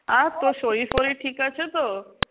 আর তোর শরীর-ফরীর ঠিক আছে তো?